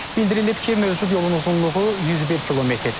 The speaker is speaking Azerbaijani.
Bildirilib ki, mövcud yolun uzunluğu 101 km.